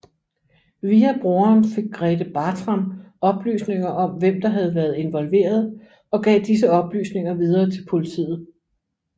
Via broderen fik Grethe Bartram oplysninger om hvem der havde været involveret og gav disse oplysninger videre til politiet